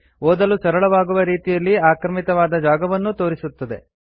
ಓದಲು ಸರಳವಾಗುವ ರೀತಿಯಲ್ಲಿ ಆಕ್ರಮಿತವಾದ ಜಾಗವನ್ನೂ ತೋರಿಸುತ್ತದೆ